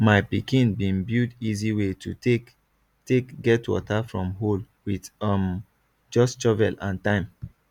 my pikin been build easy way to take take get water from hole with um just shovel and time